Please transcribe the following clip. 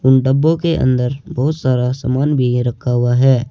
उन डब्बों के अंदर बहुत सारा सामान भी रखा हुआ है।